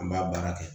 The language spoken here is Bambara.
An b'a baara kɛ